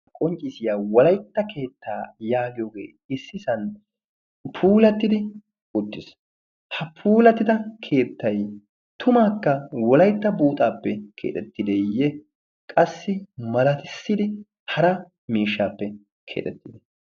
qonccisiyaa wolaitta keettaa yaagiyoogee issisan puulattidi uttiis. ha puulattida keettai tumaakka wolaitta buuxaappe keexettideeyye? qassi malatissidi hara miishshaappe keexettiidi?